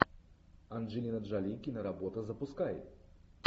анджелина джоли киноработа запускай